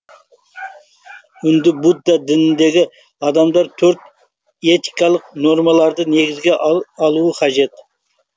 үнді будда дініндегі адамдар төрт этикалық нормаларды негізге алуы қажет